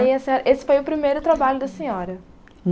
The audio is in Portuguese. Essa esse foi o primeiro trabalho da senhora?